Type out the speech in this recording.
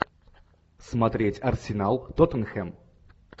смотреть арсенал тоттенхэм